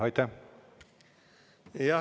Aitäh!